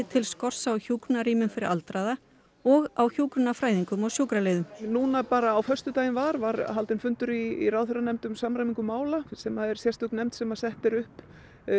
til skorts á hjúkrunarrýmum fyrir aldraða og á hjúkrunarfræðingum og sjúkraliðum núna bara á föstudaginn var var haldinn fundur í ráðherranefnd um samræmingu mála sem er sérstök nefnd sem er sett upp